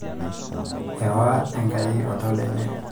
eewa Enkai oltau lenye